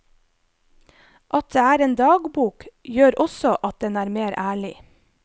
At det er en dagbok, gjør også at den er mer ærlig.